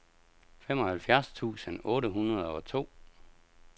femoghalvfjerds tusind otte hundrede og to